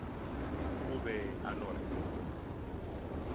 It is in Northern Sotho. o be a no re